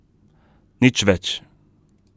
Nič več.